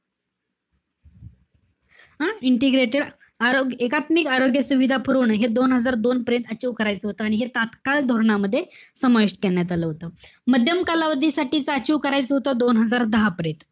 हं? integrated आ~ एकात्मिक आरोग्य सुविधा पुरवणं हे दोन हजार दोन पर्यंत achieve करायचं होतं. आणि हे तात्काळ धोरणामध्ये समाविष्ट करण्यात आलं होतं. माध्यम कालावधीसाठीच achieve करायचं होतं, दोन हजार दहा पर्यंत.